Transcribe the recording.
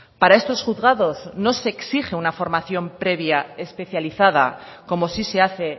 para estos juzgados no se exige una formación previa especializada como sí se hace